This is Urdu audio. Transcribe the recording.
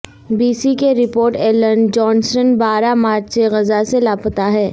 بی سی کے رپورٹر ایلن جونسٹن بارہ مارچ سے غزہ سے لاپتہ ہیں